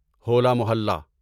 ہولا محلہ